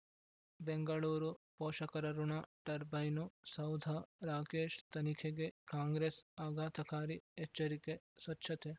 ಬೆಂಗಳೂರು ಪೋಷಕರ ಋಣ ಟರ್ಬೈನು ಸೌಧ ರಾಕೇಶ್ ತನಿಖೆಗೆ ಕಾಂಗ್ರೆಸ್ ಆಘಾತಕಾರಿ ಎಚ್ಚರಿಕೆ ಸ್ವಚ್ಛತೆ